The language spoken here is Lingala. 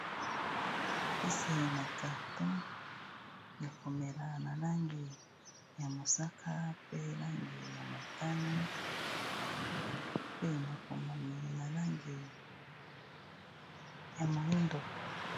Kisi na carton ya komela na langi ya mosaka mpe langi ya motane mpe makomami na langi ya moyindo.